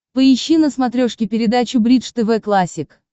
поищи на смотрешке передачу бридж тв классик